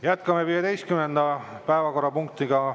Jätkame 15. päevakorrapunktiga.